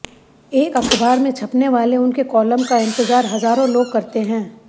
एक अख़बार में छपने वाले उनके कॉलम का इतंज़ार हज़ारों लोग करते हैं